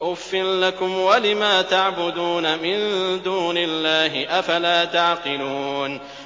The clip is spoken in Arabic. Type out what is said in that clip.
أُفٍّ لَّكُمْ وَلِمَا تَعْبُدُونَ مِن دُونِ اللَّهِ ۖ أَفَلَا تَعْقِلُونَ